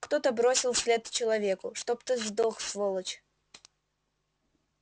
кто-то бросил вслед человеку чтоб ты сдох сволочь